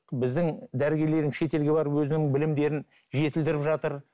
біздің дәрігерлеріміз шетелге барып өзінің білімдерін жетілдіріп жатыр